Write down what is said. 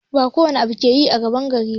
Ba kowane abu ake yi a gaban yara ba